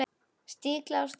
Stiklað á stóru